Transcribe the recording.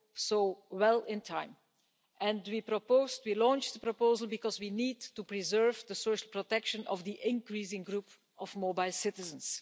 so well in time, and we launched the proposal because we need to preserve the social protection of the increasing group of mobile citizens.